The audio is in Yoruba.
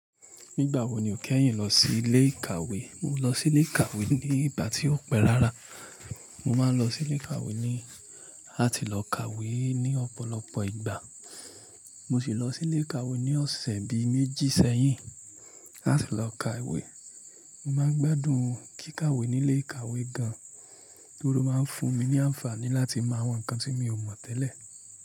Nígbà wo ni o kẹ́yìn lọ sí ilé ìkàwé? Mo lọ sí ilé ìkàwé ní ìgbà tí ó pẹ́ rárá. Mo máa ń lọ sí ilé ìkàwé ní láti lọ kàwé ní ọ̀pọ̀lọpọ̀ ìgbà. Mo sì lọ sí ilé ìkàwé ní ọ̀sẹ̀ bi méjì sẹ́yìn láti lọ kàwé. Mo máa ń gbádùn kíkàwé nílé ìkàwé gan, nítorí ó máa ń fún mi ní àǹfààní láti mọ àwọn nǹkan tí mi ò mọ̀ tẹ́lẹ̀.